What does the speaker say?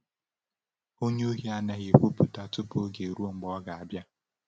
onye Ohi anaghị ekwupụta tupu oge eruo mgbe ọ ga-abịa.